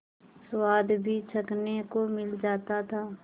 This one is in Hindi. स्वाद भी चखने को मिल जाता था